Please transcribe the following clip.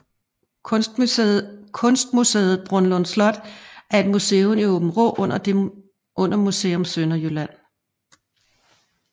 Kunstmuseet Brundlund Slot er et museum i Aabenraa under Museum Sønderjylland